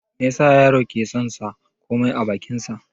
Me yasa yaro ke son sa komai a bakin shi?